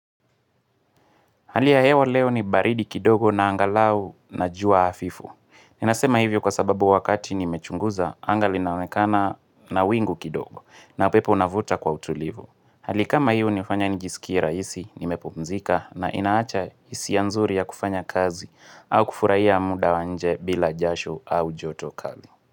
Hali ya hewa leo ni baridi kidogo na angalau na jua hafifu. Ninasema hivyo kwa sababu wakati nimechunguza anga linaonekana na wingu kidogo na pepo navuta kwa utulivu. Hali kama hiyo hunifanya nijisikie rahisi, nimepumzika na inaacha hisia nzuri ya kufanya kazi au kufurahia muda wa nje bila jasho au joto kali.